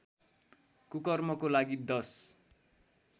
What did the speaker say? कुकर्मको लागि दश